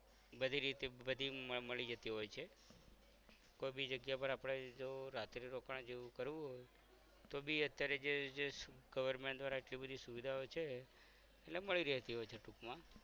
બધી રીતે બધી મળી જતી હોય છે કોઈ ભી જાગીય પર આપણે જો રાત્રે રોકાણ જેવુ કરવું હોય તોબી અત્યારે જે જે government દ્વારા આટલી બધી સુવિધાઓ છે એટલે મળી રેતી હોય છે ટૂક માં